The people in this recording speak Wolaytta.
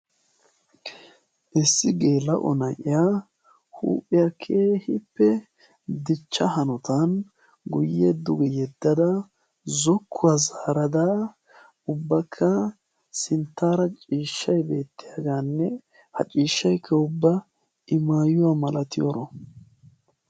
issi geela'o na"iya huuphiya keehippe dichcha hanotan guyye duge yeddada zokkuwa zaarada ubbakka sinttaara ciishshay beettiyageaanne ha ciishshaykka ubba i mayuwa malatiyoro.